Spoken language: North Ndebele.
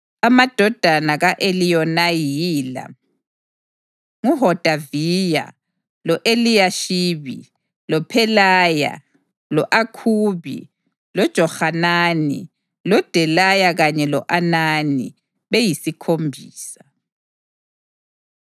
Amadodana ka-Eliyonayi yila: nguHodaviya, lo-Eliyashibi, loPhelaya, lo-Akhubi, loJohanani, loDelaya kanye lo-Anani, beyisikhombisa.